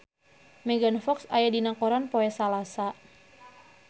Megan Fox aya dina koran poe Salasa